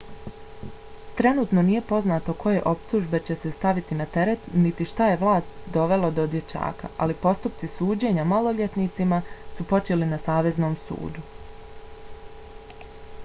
trenutno nije poznato koje optužbe će se staviti na teret niti šta je vlasti dovelo do dječaka ali postupci suđenja maloljetnicima su počeli na saveznom sudu